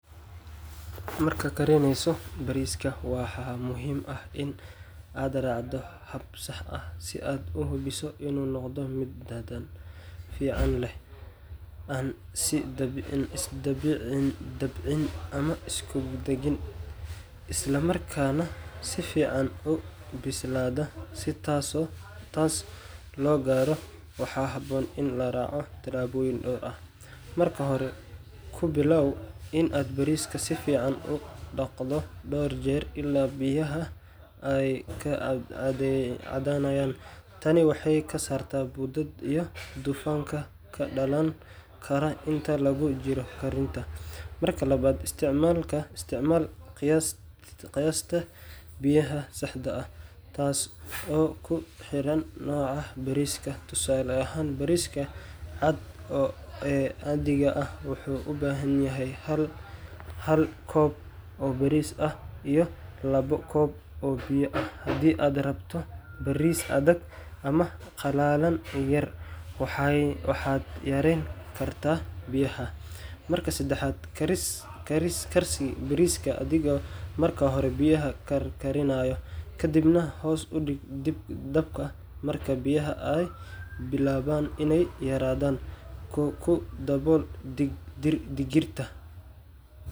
Marka karineysoh bariska waxa muhim aah in adracdoh hab saax aah si uhubisoh inu noqdoh mid dadan fican, an si dabeeci amah iskudagin islamarkana sifican aa u bisladoh taas lo karoh , waxa haboon in laracoh siyaboyin oo eeh marka hori kubilaw in aa bariska sufican u daqdoh door jeer ila biyaha Aya kacadanayan taani waxakasartah bodathi iyo dufangka kadalan karah inta lagu jiroh karinta, marka lawat isticmaloh qiyaas biyaha saxda aah taaso oo kuxiran noca aah bariska tusali aahn bariska waxu u bahanyahay hab Hal kob oo baris aah lawa koob oo biya aah handi aa rabtoh baris adega amah kuqala yar waxat yarenkartah biyaha marka dadaxat Karis maraka hori biyaha karkarinayo kadib nah hoos u deeg daabka marka biyaha ay bilawan inay yaradan kudobool digirtaa .